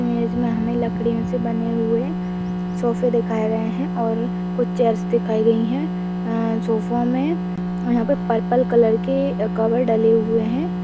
Image में हमें लकड़ियों से बने हुए सोफे दिखाए गए हैं और कुछ चेयर्स दिखाई गईं हैं। अ सोफो में यहां पर पर्पल कलर के कवर डले हुए हैं।